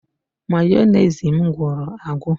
Mayonezi m gwụrụ agwụ